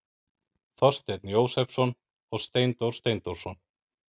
Þorsteinn Jósepsson og Steindór Steindórsson.